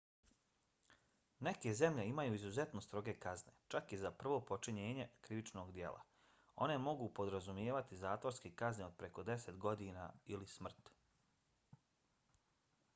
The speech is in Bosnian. neke zemlje imaju izuzetno stroge kazne čak i za prvo počinjenje krivičnog djela. one mogu podrazumijevati zatvorske kazne od preko 10 godina ili smrt